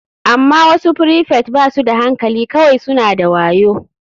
Amma wasu prefect ba su da hankali kawai suna da wayo.